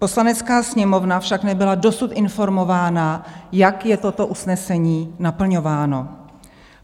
Poslanecká sněmovna však nebyla dosud informována, jak je toto usnesení naplňováno.